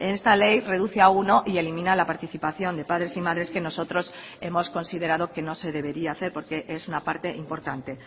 esta ley reduce a uno y elimina la participación de padres y madres que nosotros hemos considerado que no se debería hacer porque es una parte importante